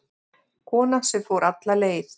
Kona sem fór alla leið